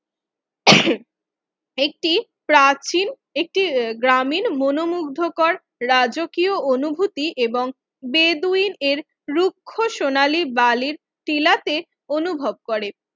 একটি প্রাচীন একটি গ্রামীণ মনোমুগ্ধকর রাজকীয় অনুভূতি এবং বেদুইন এর রুক্ষ সোনালী বালির টিলাতে অনুভব করে